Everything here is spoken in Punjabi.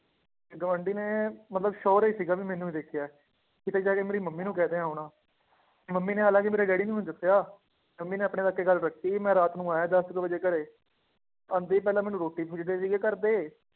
ਤੇ ਗੁਆਂਢੀ ਨੇ ਮਤਲਬ sure ਹੀ ਸੀਗਾ ਵੀ ਮੈਨੂੰ ਹੀ ਦੇਖਿਆ ਹੈ, ਕਿਤੇ ਜਾ ਕੇ ਮੇਰੀ ਮੰਮੀ ਨੂੰ ਕਹਿ ਦਿੱਤਾ ਹੋਣਾ ਮੰਮੀ ਨੇ ਹਾਲਾਂਕਿ ਮੇਰੇ ਡੈਡੀ ਨੂੰ ਨੀ ਦੱਸਿਆ, ਮੰਮੀ ਨੇ ਆਪਣੇ ਤੱਕ ਹੀ ਗੱਲ ਰੱਖੀ ਸੀ ਮੈਂ ਰਾਤ ਨੂੰ ਆਇਆ ਦਸ ਕੁ ਵਜੇ ਘਰੇ, ਆਉਂਦੇ ਹੀ ਪਹਿਲਾਂ ਮੈਨੂੰ ਰੋਟੀ ਪੁੱਛਦੇ ਸੀਗੇ ਘਰਦੇ